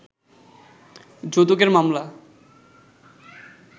যৌতুকের মামলা